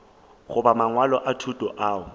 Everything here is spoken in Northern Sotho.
goba mangwalo a thuto ao